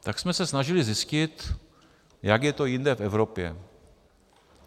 Tak jsme se snažili zjistit, jak je to jinde v Evropě.